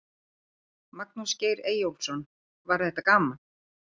Magnús Geir Eyjólfsson: Var þetta gaman?